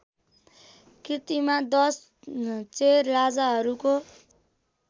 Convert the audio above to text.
कृतिमा दश चेर राजाहरूको